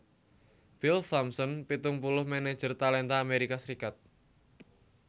Bill Thompson pitung puluh manajer talenta Amerika Serikat